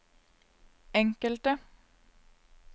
enkelte